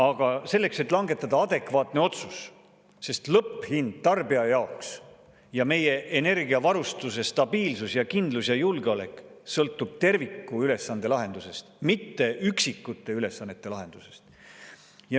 Aga langetada adekvaatne otsus, sest lõpphind tarbija jaoks ja meie energiavarustuse stabiilsus ja kindlus ja julgeolek sõltuvad tervikülesande lahendusest, mitte üksikute ülesannete lahendusest.